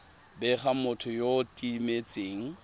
bega motho yo o timetseng